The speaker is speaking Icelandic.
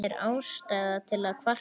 Er ástæða til að kvarta?